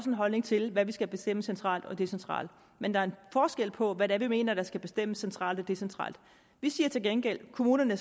en holdning til hvad vi skal bestemme centralt og decentralt men der er en forskel på hvad det er vi mener der skal bestemmes centralt og decentralt vi siger til gengæld at kommunerne